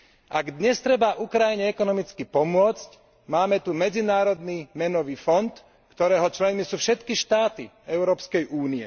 Ak dnes treba Ukrajine ekonomicky pomôcť, máme tu Medzinárodný menový fond, ktorého členmi sú všetky štáty EÚ.